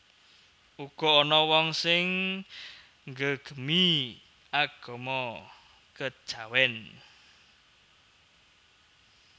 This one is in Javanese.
Uga ana wong sing nggegemi agama kejawen